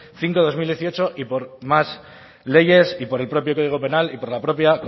cinco barra dos mil dieciocho y por más leyes y por el propio código penal y por la propia